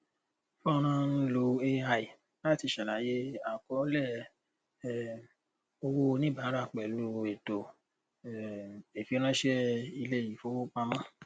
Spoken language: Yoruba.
fọnrán ń lo ai láti ṣàlàyé àkọọlẹ um owó oníbàárà pẹlú ètò um ìfiránṣẹ ilé ìfowópamọ